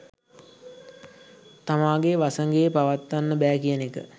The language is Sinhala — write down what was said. තමාගේ වසඟයේ පවත්වන්න බෑ කියන එක.